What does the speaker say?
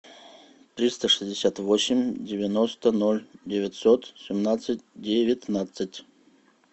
триста шестьдесят восемь девяносто ноль девятьсот семнадцать девятнадцать